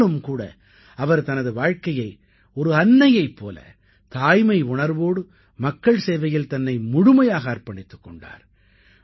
ஆனாலும் கூட அவர் தனது வாழ்க்கையை ஒரு அன்னையைப் போல தாய்மை உணர்வோடு மக்கள் சேவையில் தன்னை முழுமையாக அர்ப்பணித்துக் கொண்டார்